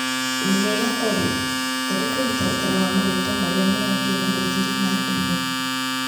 Wĩmwega Olĩ, thondeka mũtaratara wa marĩtwa marĩa marambia na gũthira na ndemwa.